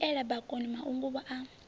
i viela bakoni mahunguvhu a